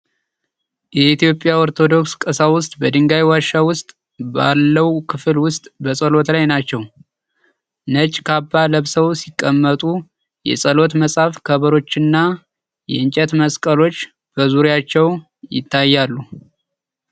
የኢትዮጵያ ኦርቶዶክስ ቀሳውስት በድንጋይ ዋሻ ውስጥ ባለው ክፍል ውስጥ በጸሎት ላይ ናቸው። ነጭ ካባ ለብሰው ሲቀመጡ የጸሎት መጽሐፍ፣ ከበሮዎችና የእንጨት መስቀሎች በዙሪያቸው ይታያሉ።